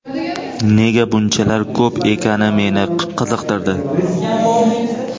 Nega bunchalar ko‘p ekani meni qiziqtirdi.